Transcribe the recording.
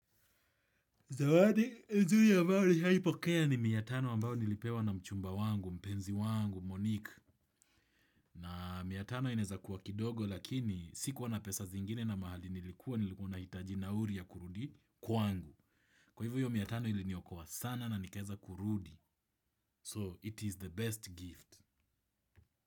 Zawadi, ya juu ambao nishawahi pokea ni mia tano ambao nilipewa na mchumba wangu, mpenzi wangu, Monique. Na mia tano inaeza kuwa kidogo lakini sikuwa na pesa zingine na mahali nilikuwa nilikuwa ninahitaji nauli ya kurudi kwangu. Kwa hivo hiyo mia tano iliniokoa sana na nikaeza kurudi. So, it is the best gift.